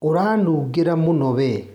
Ũranungira mũno we